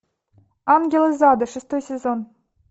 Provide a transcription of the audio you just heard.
ангел из ада шестой сезон